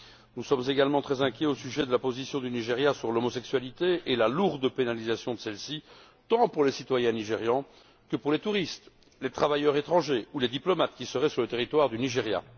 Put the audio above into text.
Nous sommes également très inquiets au sujet de la position du Nigeria sur l'homosexualité et la lourde pénalisation de celle ci, tant pour les citoyens nigérians que pour les touristes, les travailleurs étrangers, ou les diplomates qui seraient sur le territoire du Nigeria.